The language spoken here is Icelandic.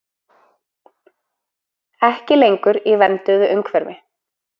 Ekki lengur í vernduðu umhverfi